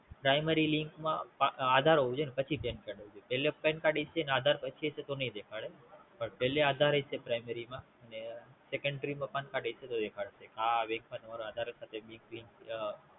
Primary link માં આધાર હોવું જોયે ને પછી Pancard હોવું જોયે પેલા Pancard હશે ને પછી આધાર પછી હશે તો નય દેખાડે પણ પણ આધાર હશે Primary માં ને Secondary માં Pancard દેખાડશે આ આ Bank માં તમારું આધાર